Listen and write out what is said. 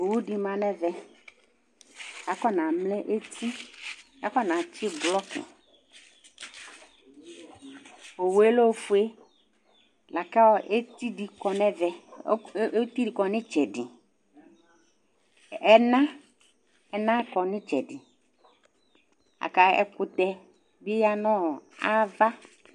Owu ɖɩ ma ŋɛʋɛ Aƙɔ ŋa mlɛ étɩ, aƙɔŋa tsɩ ɓlɔƙɩ Owué lɛ oƒoé, lakɔ étiɖɩ ƙɔ ŋɩtsɛɖɩ, ɛŋa ƙɔ ŋitsɛɖɩ la ƙɛ kutɛ ɓɩ ƴa ŋava